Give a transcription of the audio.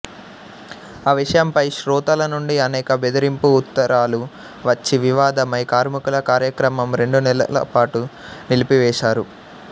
ఆ విషయంపై శ్రోతల నుండి అనేక బెదిరింపు ఉత్తరాలు వచ్చి వివాదమై కార్మికుల కార్యక్రమం రెండు నెలలపాటు నిలిపివేశారు